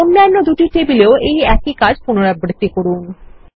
অন্যান্য দুটি টেবিলেও একই কাজ পুনরাবৃত্তি করুন